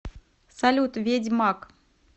салют ведьмаг